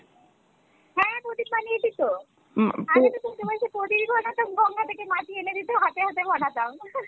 হ্যাঁ প্রদীপ বানিয়েছিতো আগে তো চৈত্র মাসে প্রদীপ বানাতাম গঙ্গা থেকে মাটি এনে দিতো হাতে হাতে বানাতাম